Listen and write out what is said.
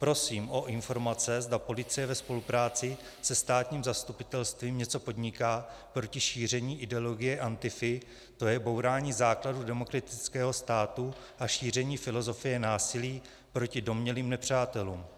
Prosím o informace, zda policie ve spolupráci se státním zastupitelstvím něco podniká proti šíření ideologie Antify, to je bourání základů demokratického státu a šíření filozofie násilí proti domnělým nepřátelům.